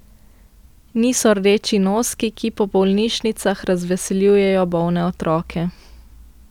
Niso rdeči noski, ki po bolnišnicah razveseljujejo bolne otroke.